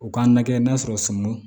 U k'an lajɛ n'a sɔrɔ sɔmi